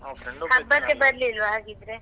ಹಬ್ಬಕ್ಕೆ ಬರ್ಲಿಲ್ವಾ ಹಾಗಿದ್ರೆ?